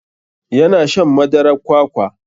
Ya na shan madarar kwakwa.